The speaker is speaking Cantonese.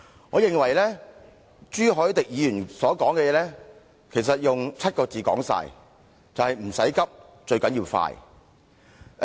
我認為朱凱廸議員所說的其實可以用7個字概括，就是"唔使急，最緊要快"。